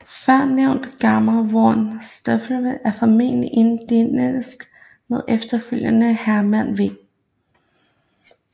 Førnævnte Germar von Staffeldt er formentlig identisk med efterfølgende Herman v